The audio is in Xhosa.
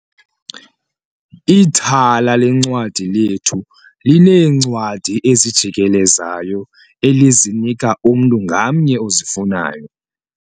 Ithala leencwadi lethu lineencwadi ezijikelezayo elizinika umntu ngamnye ozifunayo.